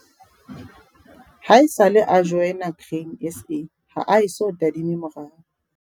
Haesale a joina Grain SA ha a eso tadime morao.